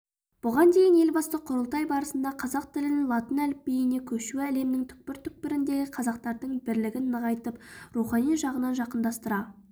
бұған дейін елбасы құрылтай барысында қазақ тілінің латын әліпбиіне көшуі әлемнің түкпір-түкпіріндегі қазақтардың бірлігін нығайтып рухани жағынан жақындастыра